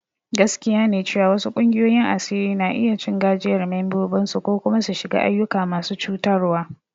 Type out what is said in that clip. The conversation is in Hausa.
Gaskiya ne cewa wasu ƙungiyoyin asiri na iya cin gajiyar membobinsu ko kuma su shiga ayyuka masu cutarwa.